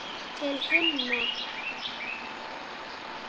Til himna!